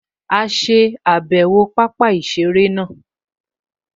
A ṣe àbẹ̀wò pápá-ìseré náà